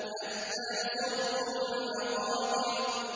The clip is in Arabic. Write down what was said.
حَتَّىٰ زُرْتُمُ الْمَقَابِرَ